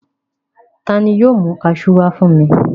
Ta ni yóò mú kaṣú wá fún mi?